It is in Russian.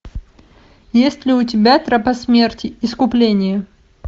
есть ли у тебя тропа смерти искупление